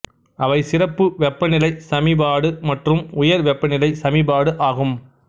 அவை சிறப்பு வெப்பநிலை சமிபாடு மற்றும் உயர் வெப்பநிலை சமிபாடு ஆகும்